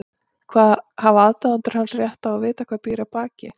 Hafa aðdáendur hans rétt á að vita hvað býr að baki?